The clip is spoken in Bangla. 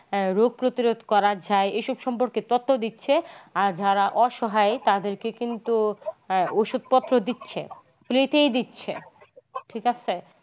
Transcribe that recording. রোগ প্রতিরোধ করা যায় এসব সম্পর্কে তথ্য দিচ্ছে আর যারা অসহায় তাদেরকে কিন্তু ওষুধপত্র দিচ্ছে। free তেই দিচ্ছে।